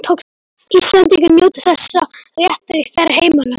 Íslendingar njóti þessa réttar í þeirra heimalöndum.